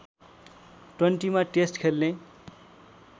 ट्वान्टीमा test खेल्ने